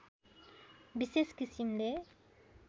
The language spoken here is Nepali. विशेष किसिमले